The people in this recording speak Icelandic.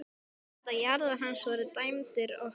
Þú veist að jarðir hans voru dæmdar okkur!